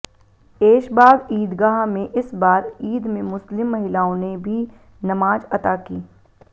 ऐशबाग ईदगाह में इस बार ईद में मुस्लिम महिलाओं ने भी नमाज अता की